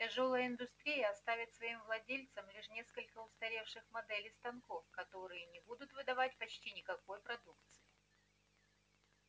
тяжёлая индустрия оставит своим владельцам лишь несколько устаревших моделей станков которые не будут выдавать почти никакой продукции